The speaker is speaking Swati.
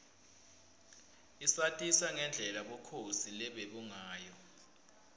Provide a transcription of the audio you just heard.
isatisa ngendlela bukhosi lobebungayo